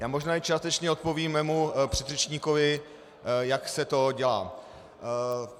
Já možná i částečně odpovím mému předřečníkovi, jak se to dělá.